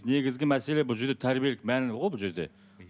негізгі мәселе бұл жерде тәрбиелік мәні ғой бұл жерде